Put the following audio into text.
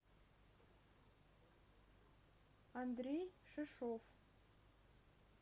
андрей шишов